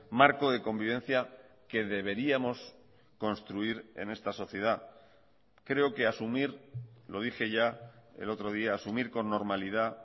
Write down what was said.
marco de convivencia que deberíamos construir en esta sociedad creo que asumir lo dije ya el otro día asumir con normalidad